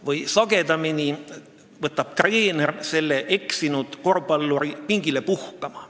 Või siis, nagu sagedamini juhtub, treener kutsub selle eksinud korvpalluri pingile puhkama.